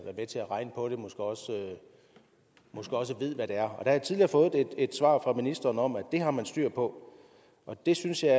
med til at regne på det måske også ved hvad det er der jeg tidligere fået et svar fra ministeren om at det har man styr på det synes jeg